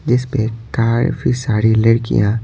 जिस पे काफी सारी लड़कियां--